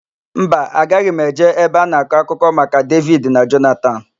Mba, agaghị m eje ebe a na-akọ akụkọ maka Devid na Jonatan.